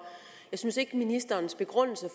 jeg synes ikke at ministerens begrundelse